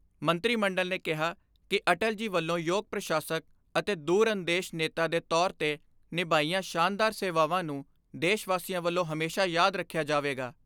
ਮੰਤਰੀ ਮੰਡਲ ਨੇ ਕਿਹਾ ਕਿ ਅਟਲ ਜੀ ਵੱਲੋਂ ਯੋਗ ਪੁਸ਼ਾਸਕ ਅਤੇ ਦੂਰਅੰਦੇਸ਼ ਨੇਤਾ ਦੇ ਤੌਰ 'ਤੇ ਨਿਭਾਈਆਂ ਸ਼ਾਨਦਾਰ ਸੇਵਾਵਾਂ ਨੂੰ ਦੇਸ਼ ਵਾਸੀਆਂ ਵੱਲੋਂ ਹਮੇਸ਼ਾ ਯਾਦ ਰੱਖਿਆ ਜਾਵੇਗਾ।